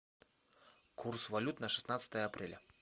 курс валют на шестнадцатое апреля